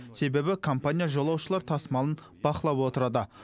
себебі компания жолаушылар тасымалын бақылап отырады